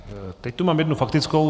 Teď tu mám jednu faktickou.